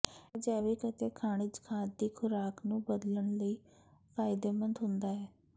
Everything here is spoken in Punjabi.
ਇਹ ਜੈਵਿਕ ਅਤੇ ਖਣਿਜ ਖਾਦ ਦੀ ਖੁਰਾਕ ਨੂੰ ਬਦਲਣ ਲਈ ਫਾਇਦੇਮੰਦ ਹੁੰਦਾ ਹੈ